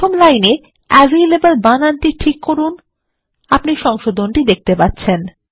প্রথম লাইনে অ্যাভালেবল বানানটি ঠিক করুন আপনি সংশোধনটি দেখতে পাচ্ছেন